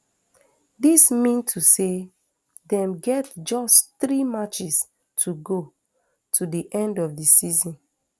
dis mean to say dem get just three matches to go to di end of di season